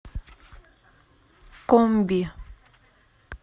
комби